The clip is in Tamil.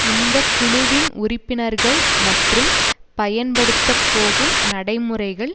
இந்த குழுவின் உறுப்பினர்கள் மற்றும் பயன்படுத்த போகும் நடைமுறைகள்